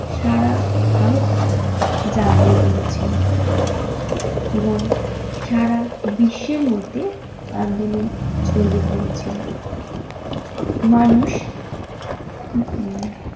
সারা ভারতকে জাগিয়ে তুলেছিল এবং সারা বিশ্বের মধ্যে আন্দোলন ছড়িয়ে পড়েছিল। মানুষ।